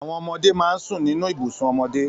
Àwọn ọmọdé máa ń sùn nínú ibùsùn ọmọdé